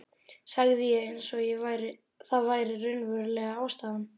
sagði ég eins og það væri raunverulega ástæðan.